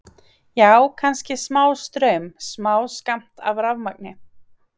Já, kannski smástraum, smáskammt af rafmagni.